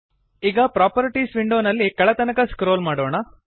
ಈಗ ಪ್ರಾಪರ್ಟೀಸ್ ವಿಂಡೋನಲ್ಲಿ ಕೆಳತನಕ ಸ್ಕ್ರೋಲ್ ಮಾಡೋಣ